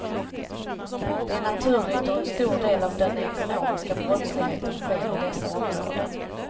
Det är naturligt då en stor del av den ekonomiska brottsligheten sker i dessa områden.